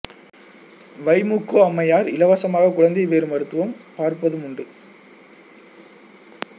வை மு கோ அம்மையார் இலவசமாக குழந்தைப்பேறு மருத்துவம் பார்ப்பதும் உண்டு